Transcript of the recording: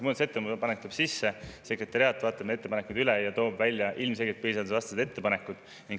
Muudatusettepanek tuleb sisse, sekretariaat vaatab ettepanekud üle ja toob välja ilmselgelt põhiseadusvastased ettepanekud.